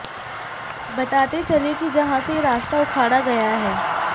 बताते चलें कि जहां से रास्ता उखाड़ा गया हैं